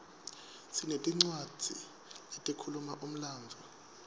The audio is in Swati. sinetincwadzi letikhuluma umlandvo